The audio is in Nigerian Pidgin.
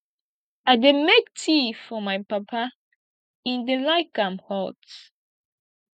i dey make tea for my papa im dey like am hot